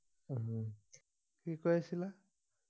কি কৈ আছিলা